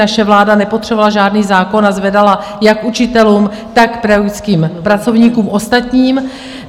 Naše vláda nepotřebovala žádný zákon a zvedala jak učitelům, tak pedagogickým pracovníkům ostatním.